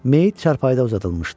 Meyit çarpayıda uzadılmışdı.